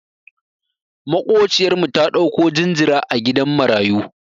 Maƙociyar mu ta ɗauko jinjira a gidan marayu.